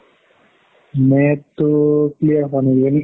net তো clear হুৱা নাই কিজানি